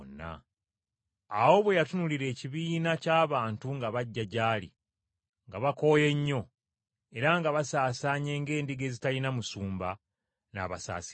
Awo bwe yatunuulira ekibiina ky’abantu nga bajja gy’ali, nga bakooye nnyo, era nga basaasaanye ng’endiga ezitalina musumba, n’abasaasira nnyo.